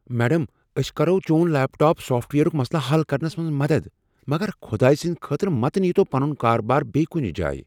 Madam, أسۍ کرو چون لیپ ٹاپ سافٹ ویئرٕک مسلہٕ حل کرنَس منٛز مدد مگر خدایہ سٕنٛدۍ خاطرٕ متہٕ نیتَو پنن کاربار بییہ کنہ جایہ۔